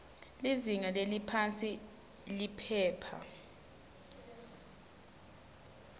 lizinga leliphansi liphepha